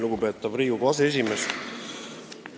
Lugupeetav Riigikogu aseesimees!